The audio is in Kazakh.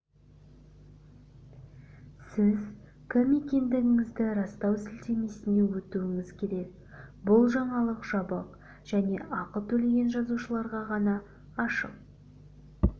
сіз кім екендігіңізді растау сілтемесіне өтуіңіз керек бұл жаңалық жабық және ақы төлеген жазылушыларға ғана ашық